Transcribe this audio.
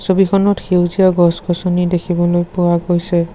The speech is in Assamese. ছবিখনত সেউজীয়া গছ-গছনি দেখিবলৈ পোৱা গৈছে।